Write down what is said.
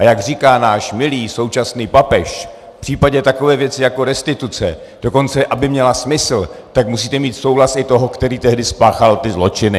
Ale jak říká náš milý současný papež, v případě takové věci jako restituce, dokonce aby měla smysl, tak musíte mít souhlas i toho, který tehdy spáchal ty zločiny.